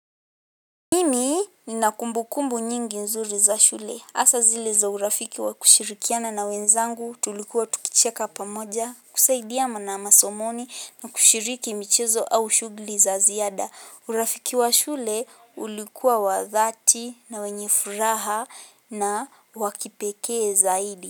Mimi nina kumbukumbu nyingi nzuri za shule. Asa zile za urafiki wa kushirikiana na wenzangu, tulikuwa tukicheka pamoja kusaidiyama na masomoni na kushiriki michezo au shugli za ziyada. Urafiki wa shule ulikuwa wadhati na wenye furaha na wakipeke zaidi.